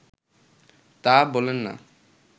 তা বলেন না